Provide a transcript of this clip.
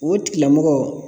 O tigilamɔgɔ